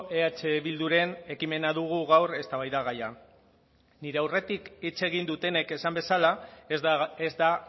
eh bilduren ekimena dugu gaur eztabaida gaia nire aurretik hitz egin dutenek esan bezala ez da